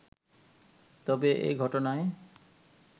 তবে এ ঘটনায়